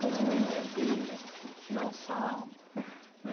Quando alguém tinha que tirar um sarro, né